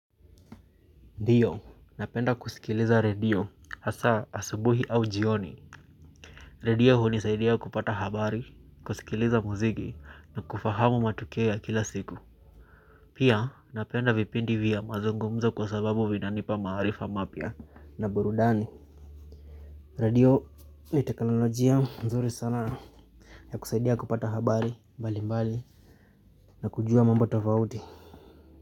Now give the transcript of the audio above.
Ndiyo, napenda kusikiliza redio hasa asubuhi au jioni. Redio hunisaidia kupata habari, kusikiliza muziki na kufahamu matukio ya kila siku. Pia napenda vipindi vya mazungumzo kwa sababu vinanipa maarifa mapya na burudani. Redio ni teknolojia mzuri sana ya kusaidia kupata habari mbalimbali na kujua mambo tofauti.